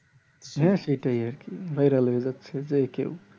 হ্যাঁ সেটাই আরকি viral হয়ে যাচ্ছে যে কেউ